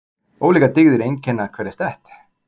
Ólíkar dygðir einkenna hverja stétt.